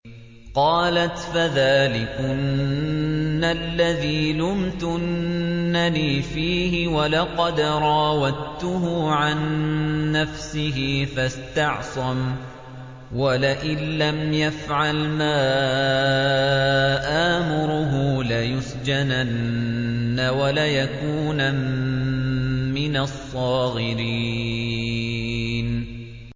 قَالَتْ فَذَٰلِكُنَّ الَّذِي لُمْتُنَّنِي فِيهِ ۖ وَلَقَدْ رَاوَدتُّهُ عَن نَّفْسِهِ فَاسْتَعْصَمَ ۖ وَلَئِن لَّمْ يَفْعَلْ مَا آمُرُهُ لَيُسْجَنَنَّ وَلَيَكُونًا مِّنَ الصَّاغِرِينَ